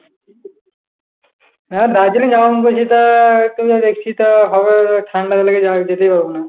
হ্যাঁ দার্জিলিং যাব মনে করেছি তো দেখছি তো হবে ঠান্ডা তো লেগে যাবে, যেতেই পারবো না।